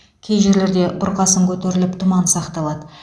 кей жерлерде бұрқасын көтеріліп тұман сақталады